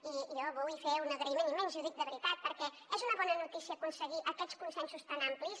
i jo vull fer un agraïment immens i ho dic de veritat perquè és una bona notícia aconseguir aquests consensos tan amplis